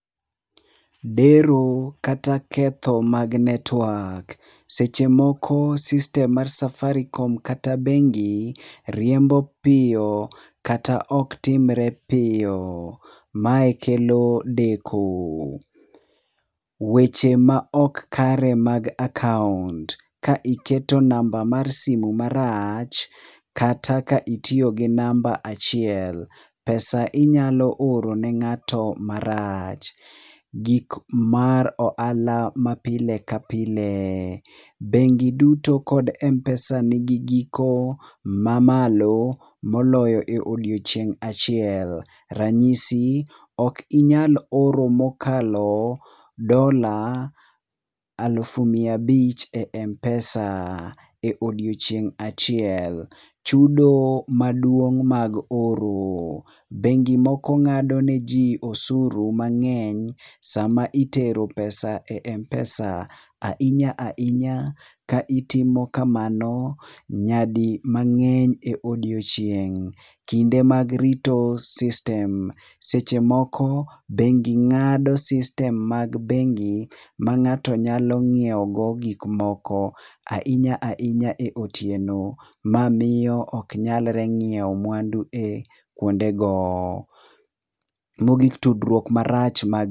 Dero kata ketho mag network. Seche moko sistem mar safaricom kata bengi, riembo piyo kata ok timre piyo. Mae kelo deko. Weche ma ok kare mag akaont. Ka iketo namba mar simu marach kata ka itiyo gi namba achiel, pesa inyalo oro ne ng'ato marach. Gik mar ohala ma pile ka pile. Bengi duto kod m-pesa ni gi giko mamalo moloyo e odiechieng achieng, kuom ranyisi ok inyal oro mokalo dola alufu miya abich e m-pesa e odiochieng achiel. Chudo maduong' mag oro. Bengi moko ng'ado neji osuru mang'eny sama itero e m-pesa. Ahinya ahinya ka itimo kamano nyadi mang'eny e odiechieng'. kinde mag rito sistem. Seche moko bengi ng'ado sistem mag bengi mang'ato nyalo ng'iewogo gik moko ahinya ahinya e otieno. Ma miyo ok nyalre ng'iewo mwandu e kuondego. Mogik, tudruok marach mag